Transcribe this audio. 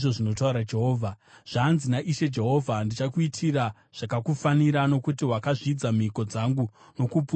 “ ‘Zvanzi naIshe Jehovha: Ndichakuitira zvakakufanira, nokuti wakazvidza mhiko dzangu nokuputsa sungano yangu.